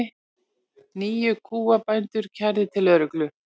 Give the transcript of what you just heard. Níu kúabændur kærðir til lögreglu